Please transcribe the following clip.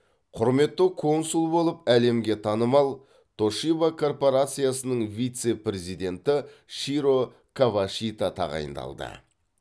құрметті консул болып әлемге танымал тошиба корпорациясының вице президенті широ кавашита тағайындалды